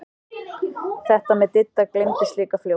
Þetta með Didda gleymdist líka fljótt.